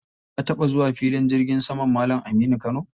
Ka taɓa zuwa filin jirgin saman Malam Aminu Kano?